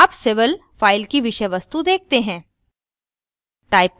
अब civil file की विषय वस्तु देखते हैं